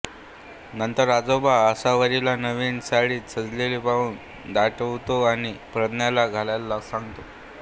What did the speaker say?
नंतर आजोबा आसावरीला नवीन साडीत सजलेली पाहून दटावतो आणि प्रज्ञाला द्यायला सांगतो